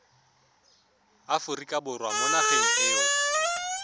aforika borwa mo nageng eo